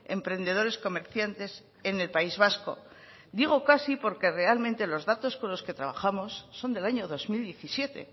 emprendedores comerciantes en el país vasco digo casi porque realmente los datos con los que trabajos son del año dos mil diecisiete